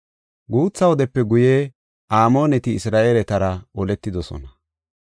Guutha wodepe guye Amooneti Isra7eeletara oletidosona.